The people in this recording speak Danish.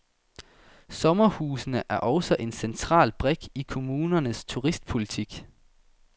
Sommerhusene er også en central brik i kommunernes turistpolitik.